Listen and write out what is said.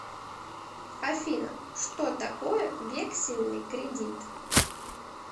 афина что такое вексельный кредит